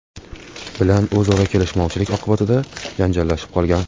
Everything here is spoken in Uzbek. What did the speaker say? bilan o‘zaro kelishmovchilik oqibatida janjallashib qolgan.